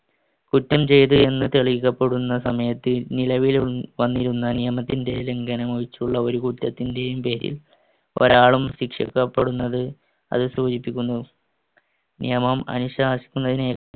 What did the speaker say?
കുറ്റം ചെയ്‌തു എന്ന് തെളിയിക്കപ്പെടുന്ന സമയത്ത് നിലവിലും വന്നിരുന്ന നിയമ ലംഘനം ഒഴിച്ചുള്ള ഒരു കുറ്റത്തിന്‍റെയും പേരിൽ ഒരാളും ശിക്ഷിക്കപ്പെടുന്നത് അത് സൂചിപ്പിക്കുന്നു. നിയമം അനുശാസിക്കുന്നതിന്